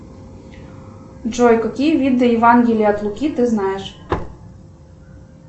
джой какие виды евангелия от луки ты знаешь